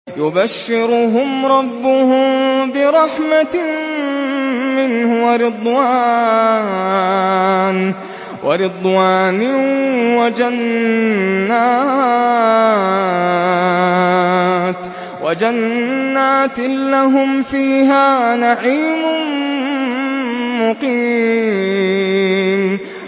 يُبَشِّرُهُمْ رَبُّهُم بِرَحْمَةٍ مِّنْهُ وَرِضْوَانٍ وَجَنَّاتٍ لَّهُمْ فِيهَا نَعِيمٌ مُّقِيمٌ